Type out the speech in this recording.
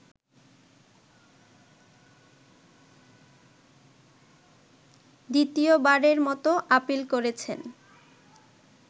দ্বিতীয়বারের মতো আপীল করেছেন